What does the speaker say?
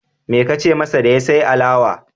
Me ka ce masa da ya sai ma alawa?